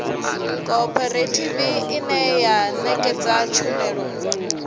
khophorethivi ine ya ṋekedza tshumelo